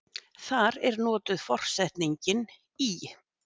Þar er notuð forsetningin í.